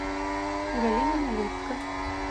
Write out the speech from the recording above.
галина нализко